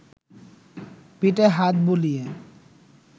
পিঠে হাত বুলিয়ে